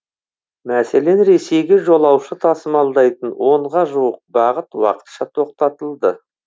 мәселен ресейге жолаушы тасымалдайтын онға жуық бағыт уақытша тоқтатылды